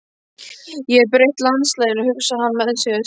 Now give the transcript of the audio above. Ég hef breytt landslaginu, hugsaði hann með sér.